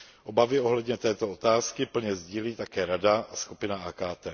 Obavy ohledně této otázky plně sdílí také Rada a skupina AKT.